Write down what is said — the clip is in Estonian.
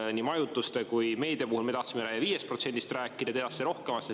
Ja nii majutuste kui ka meedia puhul me tahtsime 5%‑st rääkida, teie rohkemast.